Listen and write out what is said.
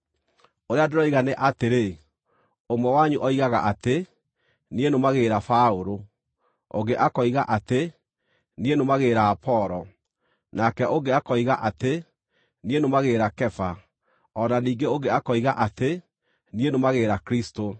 Ũrĩa ndĩroiga nĩ atĩrĩ: Ũmwe wanyu oigaga atĩ, “Niĩ nũmagĩrĩra Paũlũ”; ũngĩ akoiga atĩ, “Niĩ nũmagĩrĩra Apolo”; nake ũngĩ akoiga atĩ, “Niĩ nũmagĩrĩra Kefa”; o na ningĩ ũngĩ akoiga atĩ, “Niĩ nũmagĩrĩra Kristũ.”